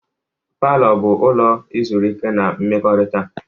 Palọ bụ ụlọ izurike na mmekọrịta.